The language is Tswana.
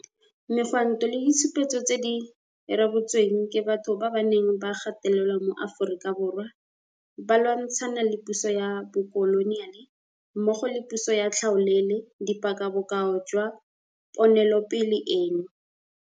Megwanto le ditshupetso tse di rebotsweng ke batho ba ba neng ba gatelelwa mo Aforika Borwa ba lwantshana le puso ya bokoloniale mmogo le puso ya tlhaolele di paka bokao jwa ponelopele eno.